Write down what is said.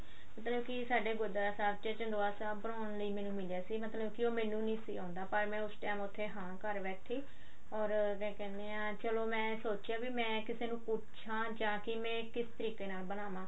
ਮਤਲਬ ਕੀ ਸਾਡੇ ਗੁਰਦੁਆਰਾ ਸਾਹਿਬ ਚ ਚੰਦੋਆ ਸਾਹਿਬ ਬੁਨ ਲਈ ਮੈਨੂੰ ਮਿਲਿਆ ਸੀ ਮਤਲਬ ਕੀ ਉਹੈਨੂੰ ਨੀਂ ਸੀ ਆਉਂਦਾ ਮੈਂ ਉਸ time ਉੱਥੇ ਹਾਂ ਕਰ ਬੈਠੀ or ਮੈਂ ਕਹਿੰਦੀ ਆ ਚਲੋ ਮੈਂ ਸੋਚਿਆ ਮੈਂ ਕਿਸੇ ਨੂੰ ਪੱਛਾ ਜਾਕੇ ਮੈਂ ਕਿਸ ਤਰੀਕੇ ਨਾਲ ਬਣਾਵਾਂ